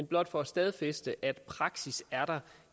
blot for at stadfæste at praksis er der